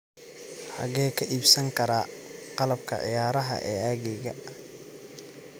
xagee ka iibsan karaa qalabka ciyaaraha ee agteyda